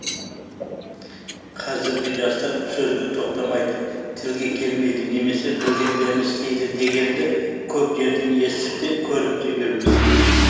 қазіргі жастар сөзге тоқтамайды тілге келмейді немесе білгендерін істейді дегенді көп жерден естіп те көріп те жүрміз